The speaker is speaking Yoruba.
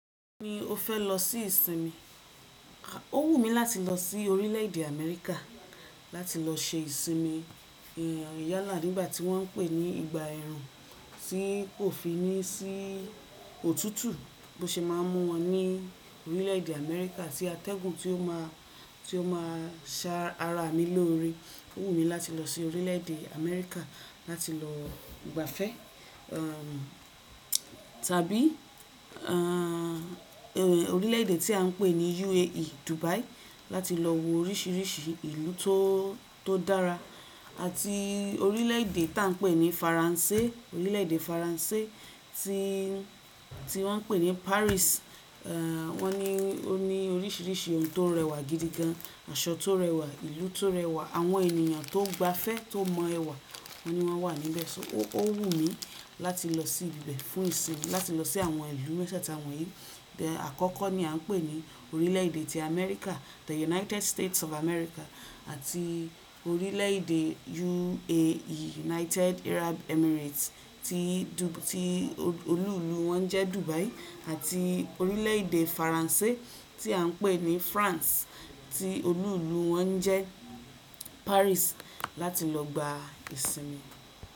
Mo ní mo fẹ́ lọ sí ìsinmi, ó wù mí láti lọ sí orílẹ̀ èdè Amẹ́ríkà láti lọ ṣe ìsinmi ìyàlá nígbà tí wọ́n ń pè ní ìgbà ẹ̀rùn tí kò fi ní sí òtútù bó ṣe máa ń mọ́ wọn ní orílẹ̀ èdè Amẹ́ríkà tí atẹ́gùn tí ó máa, tí ó máa sa ara mi lórí. Ó wù mí láti lọ sí orílẹ̀ èdè Amẹ́ríkà láti lọ ìgbafẹ́, tàbí, eeh, orílẹ̀ èdè tí à ń pè ní UAE Dubai láti lọ wo oríṣiríṣi ìlú tó, tó dára àti orílẹ̀ èdè tá ń pè ní Faransé, orílẹ̀ èdè Faransé tí, tí wọ́n ń pè ní Paris. Wọ́n ní ó ní oríṣiríṣi ohun tó rẹwà gidi gan, aṣọ tó rẹwà, ìlú tó rẹwà, àwọn ènìyàn tó gba ìfẹ́, tó mọ ẹwà wọ́n ní wọ́n wà níbẹ̀. So ó wù mí láti lọ sí ibẹ̀ fún ìsinmi, láti lọ sí àwọn ìlú méjẹ́ẹ̀ta wọ̀nyí. Ẹ̀, àkọ́kọ́ ni a ń pè ní orílẹ̀ èdè ti Amẹ́ríkà The United States of America àti orílẹ̀ èdè UAE United Arab Emirates tí, tí olú ìlú wọn jẹ́ Dubai àti orílẹ̀ èdè Faransé tí à ń pè ní France tí olú ìlú wọn jẹ́ Paris láti lọ gba ìsinmi.